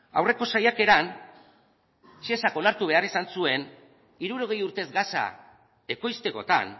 aurreko saiakeran shesak onartu behar izan zuen hirurogei urtez gasa ekoiztekotan